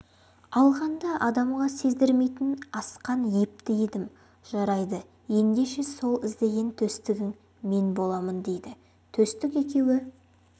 алғанда адамға сездірмейтін асқан епті едім жарайды ендеше сол іздеген төстігің мен боламын дейді төстік екеуі